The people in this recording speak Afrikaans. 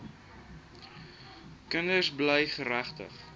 kinders bly geregtig